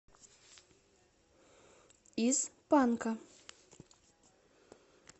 из панка